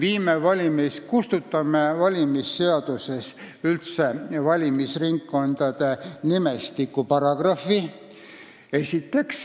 Esiteks kustutame valimisseadusest üldse valimisringkondade nimestiku paragrahvi.